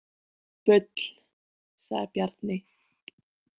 Bull, sagði Bjarni.